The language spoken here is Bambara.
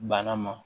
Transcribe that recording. Bana ma